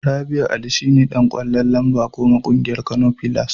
Rabi'u Ali shine Dan ƙwallo lamba goma a ƙungiyar Kano pillars.